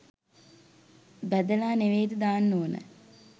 බැදලා නෙවේද දාන්න ඕනෑ?